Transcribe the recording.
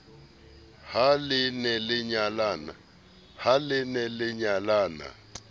ha le ne le nyalana